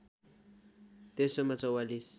तेस्रोमा ४४